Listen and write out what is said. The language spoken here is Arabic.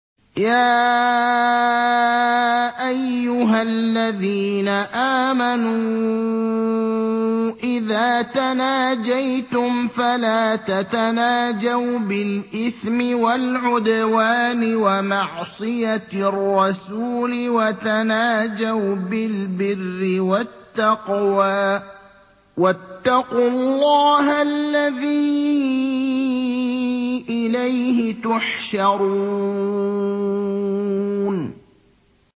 يَا أَيُّهَا الَّذِينَ آمَنُوا إِذَا تَنَاجَيْتُمْ فَلَا تَتَنَاجَوْا بِالْإِثْمِ وَالْعُدْوَانِ وَمَعْصِيَتِ الرَّسُولِ وَتَنَاجَوْا بِالْبِرِّ وَالتَّقْوَىٰ ۖ وَاتَّقُوا اللَّهَ الَّذِي إِلَيْهِ تُحْشَرُونَ